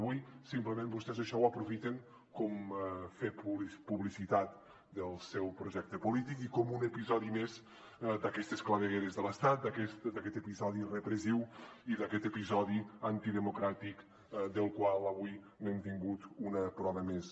avui simplement vostès això ho aprofiten com fer publicitat del seu projecte polític i com un episodi més d’aquestes clavegueres de l’estat d’aquest episodi repressiu i d’aquest episodi antidemocràtic del qual avui hem tingut una prova més